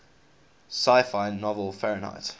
sci fi novel fahrenheit